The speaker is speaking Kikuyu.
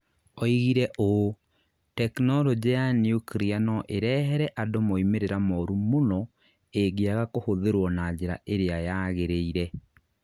Oigire ũũ: "Tekinoronjĩ ya nyuklia no ĩrehere andũ moimĩrĩro moru mũno ĩngĩaga kũhũthĩrũo na njĩra ĩria yagĩrĩire".